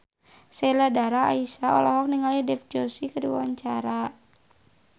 Sheila Dara Aisha olohok ningali Dev Joshi keur diwawancara